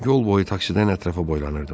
Yol boyu taksidən ətrafa boylanırdım.